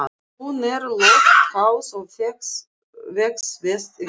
Hún er loftháð og vex best við